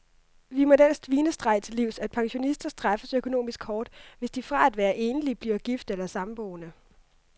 Vi må den svinestreg til livs, at pensionister straffes økonomisk hårdt, hvis de fra at være enlig bliver gift eller samboende.